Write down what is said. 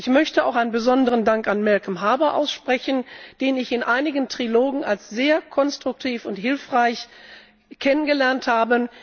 Ich möchte auch einen besonderen Dank an Malcolm Harbour aussprechen, den ich in einigen Trilogen als sehr konstruktiv und hilfreich kennengelernt habe.